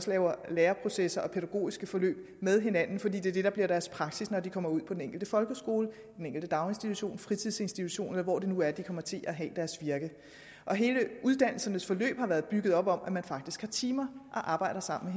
laver læreprocesser og pædagogiske forløb med hinanden fordi det er det der bliver deres praksis når de kommer ud på den enkelte folkeskole i den enkelte daginstitution fritidsinstitution eller hvor det nu er de kommer til at have deres virke hele uddannelsesforløbet har været bygget op om at man faktisk har timer og arbejder sammen